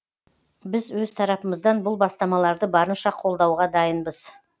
біз өз тарапымыздан бұл бастамаларды барынша қолдауға дайынбыз